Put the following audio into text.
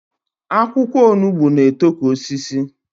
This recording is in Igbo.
Akwụkwọ onugbo na-eto ka osisi